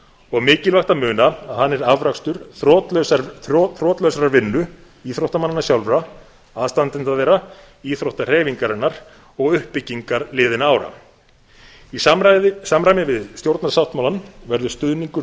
og mikilvægt að muna að hann er afrakstur þrotlausrar vinnu í íþróttamannanna sjálfra aðstandenda þeirra íþróttahreyfingarinnar og uppbyggingar liðinna ára í samræmi við stjórnarsáttmálann verður stuðningur